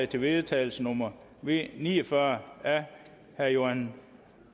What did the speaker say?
til vedtagelse nummer v ni og fyrre af johan